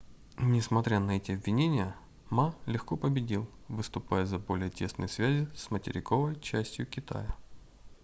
несмотря на эти обвинения ма легко победил выступая за более тесные связи с материковой частью китая